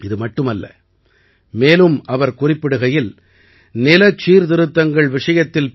இது மட்டுமல்ல மேலும் அவர் குறிப்பிடுகையில் நிலச் சீர்திருத்தங்கள் விஷயத்தில் பி